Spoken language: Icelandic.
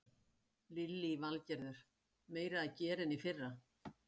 Lillý Valgerður: Meira að gera en í fyrra?